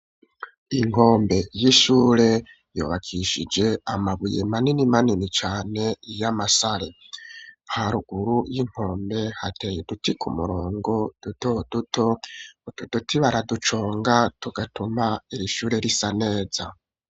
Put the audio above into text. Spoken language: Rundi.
Inkombe y'ishure yubakishije amabuye manini manini cane y'amasare. Haruguru y'inkombe, hateye uduti k'umurongo duto duto. Utu duti baraduconga tugatuma iri shure risa neza.